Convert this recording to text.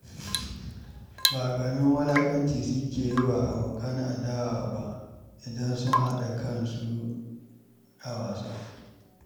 Ba ƙaramin wulaƙanci suke yi wa abokan adawa ba idan sun haɗa kansu a wasa.